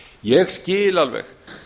ég skil alveg